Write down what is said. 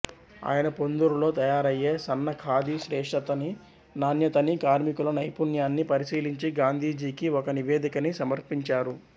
ఆయన పొందూరులో తయారయ్యే సన్న ఖాధీ శ్రేష్టతనీ నాణ్యతనీ కార్మికుల నైపుణ్యాన్నీ పరిశీలించి గాంధీజీకి ఒక నివేదికని సమర్పించారు